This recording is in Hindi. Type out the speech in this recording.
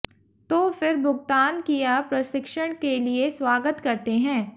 तो फिर भुगतान किया प्रशिक्षण के लिए स्वागत करते हैं